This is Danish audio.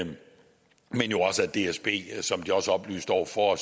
dsb som de også oplyste over for